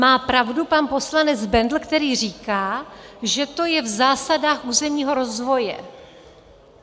Má pravdu pan poslanec Bendl, který říká, že to je v zásadách územního rozvoje.